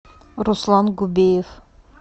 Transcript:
руслан губеев